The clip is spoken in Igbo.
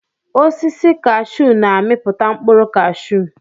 Osisi kashuu na-amiputa mkpụrụ cashuu.